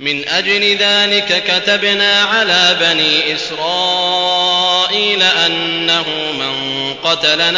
مِنْ أَجْلِ ذَٰلِكَ كَتَبْنَا عَلَىٰ بَنِي إِسْرَائِيلَ أَنَّهُ مَن قَتَلَ